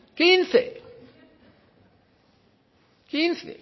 quince quince